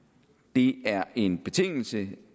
det er en betingelse